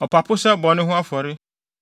ɔpapo sɛ bɔne ho afɔre;